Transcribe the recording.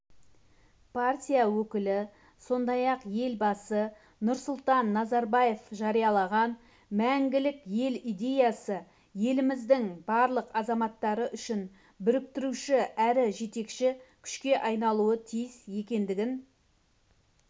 партия өкілі сондай-ақ елбасы нұрсұлтан назарбаев жариялаған мәңгілік ел идеясы еліміздің барлық азаматтары үшін біріктіруші әрі жетекші күшке айналуы тиіс екендігін